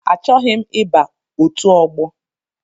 Achọghị m iba ọtu ọgbọ.